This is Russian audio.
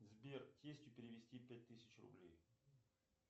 сбер тестю перевести пять тысяч рублей